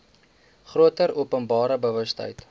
groter openbare bewustheid